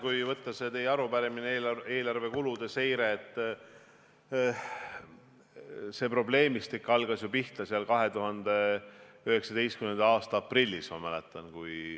Kui võtta see teie arupärimine, eelarve kulude seire, siis see probleemistik algas pihta ju 2019. aasta aprillis, ma mäletan.